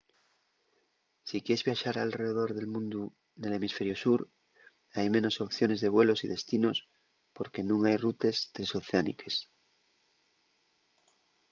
si quies viaxar alredor del mundu nel hemisferiu sur hai menos opciones de vuelos y destinos porque nun hai rutes tresoceániques